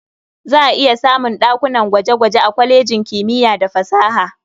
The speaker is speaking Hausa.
Za a iya samun ɗakunan gwaje-gwaje a kwalejin kimiya da fasaha.